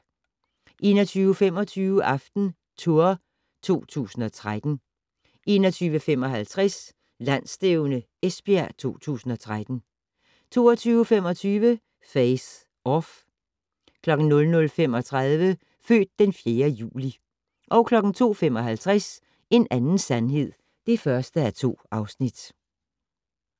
21:25: AftenTour 2013 21:55: Landsstævne Esbjerg 2013 22:25: Face/Off 00:35: Født den 4. juli 02:55: En anden sandhed (1:2)